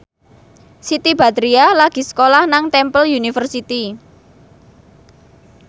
Siti Badriah lagi sekolah nang Temple University